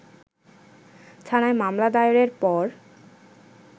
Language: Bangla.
থানায় মামলা দায়েরের পর